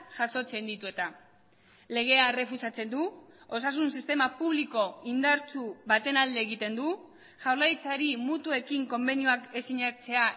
jasotzen ditu eta legea errefusatzen du osasun sistema publiko indartsu baten alde egiten du jaurlaritzari mutuekin konbenioak ez sinatzea